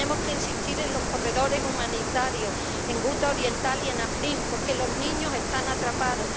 Tenemos que insistir en los corredores humanitarios en Guta oriental y en Afrín, porque los niños están atrapados.